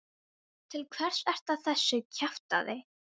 Til hvers ertu að þessu kjaftæði?